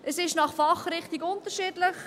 Es ist je nach Fachrichtung unterschiedlich.